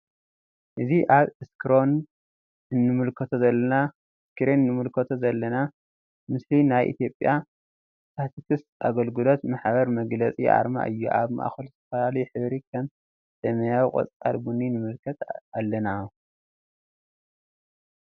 እዚ አብ እስክርን እንምልከቶ ዘለና ምስሊ ናይ ኢትዮጵያ ስታቲክስ አገልግሎት ማሕበር መግለፂ አርማ እዩ አብ ማእከሉ ዝተፈላለዩ ሕብሪ ከም ሰማያዊ ቆፃል ቡኒ ንምልከት አለና::